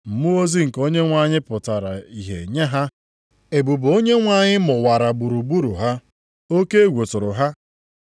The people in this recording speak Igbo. Mmụọ ozi nke Onyenwe anyị pụtara ihe nye ha. Ebube Onyenwe anyị mụwara gburugburu ha, oke egwu tụrụ ha.